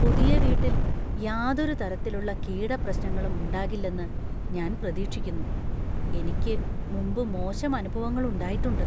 പുതിയ വീട്ടിൽ യാതൊരു തരത്തിലുള്ള കീടപ്രശ്നങ്ങളും ഉണ്ടാകില്ലെന്ന് ഞാൻ പ്രതീക്ഷിക്കുന്നു; എനിക്ക് മുമ്പ് മോശം അനുഭവങ്ങൾ ഉണ്ടായിട്ടുണ്ട്.